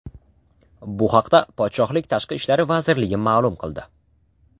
Bu haqda podshohlik Tashqi ishlar vazirligi ma’lum qildi .